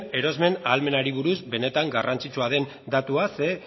erosmen ahalmenari buruz benetan garrantzitsua den datua zeren